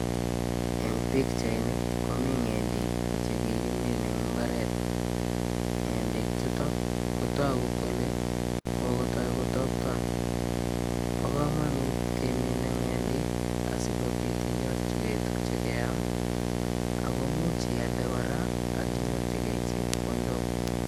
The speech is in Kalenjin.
Eng pichait ni komi ng'endek che kikimin eng imbaret. Ng'endek chukok ko toku kole kokotoi kotopton. Bo komonut keminei ng'endek asikobit inyorjikei tukche keam akomuch ialde kora ak inyorchikei chepkondok.